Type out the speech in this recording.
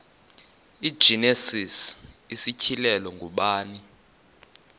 igenesis isityhilelo ngubani